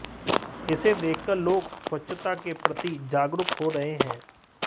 इसे देखकर लोग स्वच्छता के प्रति जागरूक हो रहे हैं